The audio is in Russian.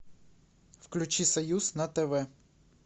включи союз на тв